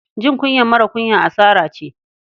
Jin kunyar marar kunya asara ce.